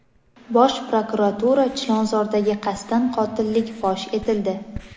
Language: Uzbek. Bosh prokuratura: Chilonzordagi qasddan qotillik fosh etildi.